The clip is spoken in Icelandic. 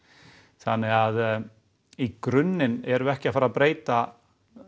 þannig að í grunninn erum við ekki að fara að breyta